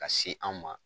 Ka se an ma